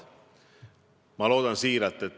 Te küsite, kuidas ma seda garanteerin.